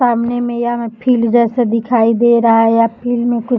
सामने में यह फिल जैसा दिखाई दे रहा है या फ़िल्म में कु --